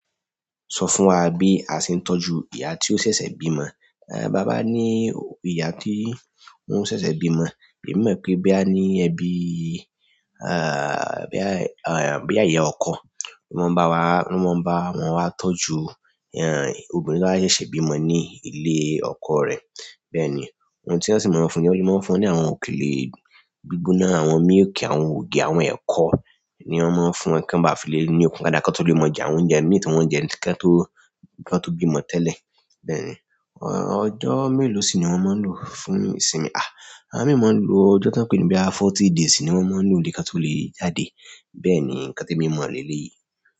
Sọ fún wa bí a ṣe ń tọ́jú ìyá tió ṣẹ̀ṣẹ̀ bímọ. Bi a ba ní ìyá tó ń ṣẹ̀ṣẹ̀ bímọ, èmi mọ̀ pé boya ní ẹbí, boya iya ọkọ wọn mọ wa n bẹ wa tọ́jú obìnrin to ba ṣẹṣẹ bimọ ni ile ọkọ rẹ. Bẹ́ẹ̀ ni, ohun tí wọ́n sì máa ń fún ni, wọ́n le máa ń fún ni àwọn òkèlè gbígbóná, àwọn míìkì, àwọn ògì, àwọn ẹ̀kọ ni wọ́n máa ń fún kí wọ́n báa fi le ní òkun daada, kán kó tó lè mu jẹ, àwọn oúnjẹ imí ti wọn jẹ kí wọ́n tó, kí wọ́n tó bímọ tẹ́lẹ̀. Bẹ́ẹ̀ ni, ọjọ́ mélòó sì ni wọ́n máa ń lò fún ìsinmi? Àwọn mìíràn máa ń lo ọjọ́ tí wọ́n pè ní boya forty days sì ni wọ́n máa ń lò nílé kí wọ́n tó lè jáde. Bẹ́ẹ̀ni nkan temi mo leleyi.